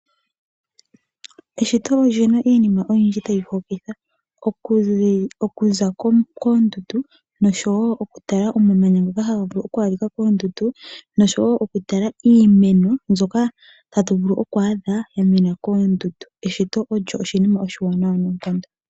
Eshito oli na iinima oyindji tayi hokitha, okuza koondundu noshowo okutala omamanya ngoka haga vulu oku adhika koondundu, noshowo okutala iimeno mbyoka hatu vulu oku adha ya mena koondundu. Eshito olyo oshinima oshiwanawa noonkondo.